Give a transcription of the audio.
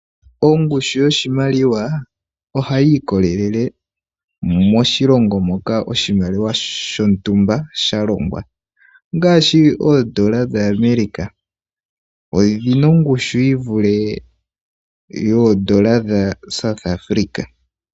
Ongushu yoshimaliwa ohayi ikolelele moshilongo moka oshimaliwa shontumba sha longwa ngaashi oondola dhaAmerica odhina ongushu yi vule yoondola dhaSouth Afrika.